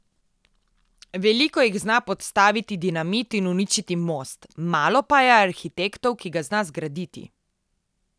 Veliko jih zna podstaviti dinamit in uničiti most, malo pa je arhitektov, ki ga zna zgraditi.